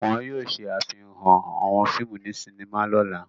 Wọn yóò ṣàfihàn àwọn fíìmù ní sinima lọ́la.